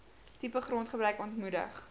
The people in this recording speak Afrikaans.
tipe grondgebruik ontmoedig